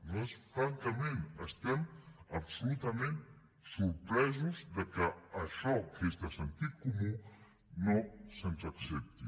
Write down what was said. nosaltres francament estem absolutament sorpresos que això que és de sentit comú no se’ns accepti